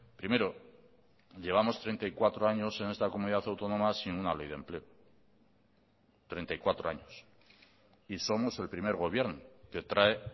primero llevamos treinta y cuatro años en esta comunidad autónoma sin una ley de empleo treinta y cuatro años y somos el primer gobierno que trae